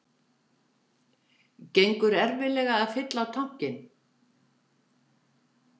Gengur erfiðlega að fylla á tankinn